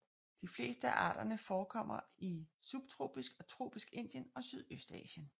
De fleste af arterne forekommer i subtropisk og tropisk Indien og Sydøstasien